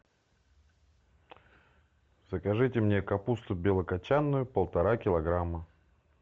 закажите мне капусту белокочанную полтора килограмма